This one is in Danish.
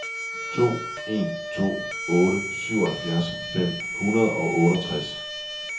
to en to otte syvoghalvfjerds fem hundrede og otteogtres